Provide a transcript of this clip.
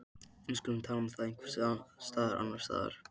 Við skulum tala um það einhvers staðar annars staðar